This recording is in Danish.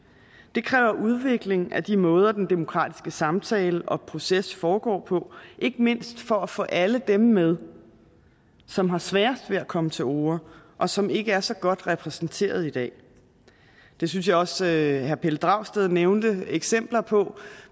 det kræver udvikling af de måder den demokratiske samtale og proces foregår på ikke mindst for at få alle dem med som har sværest ved at komme til orde og som ikke er så godt repræsenteret i dag jeg synes også herre pelle dragsted nævnte eksempler på